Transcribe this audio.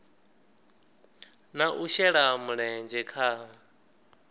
na u shela mulenzhe kha